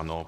Ano.